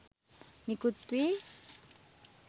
නිකුත් වී